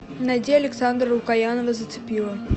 найди александра лукоянова зацепила